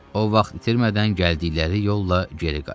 O vaxt itirmədən gəldikləri yolla geri qayıtdı.